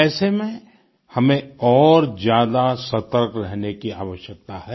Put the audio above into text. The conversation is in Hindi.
ऐसे में हमें और ज्यादा सतर्क रहने की आवश्यकता है